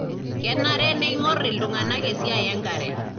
kenare neingorr iltunganaa esiai enkare.